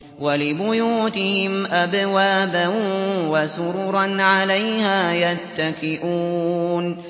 وَلِبُيُوتِهِمْ أَبْوَابًا وَسُرُرًا عَلَيْهَا يَتَّكِئُونَ